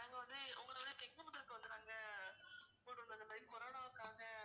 corona வுக்காக